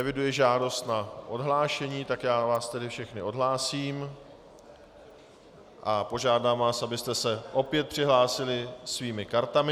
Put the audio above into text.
Eviduji žádost na odhlášení, tak já vás tedy všechny odhlásím a požádám vás, abyste se opět přihlásili svými kartami.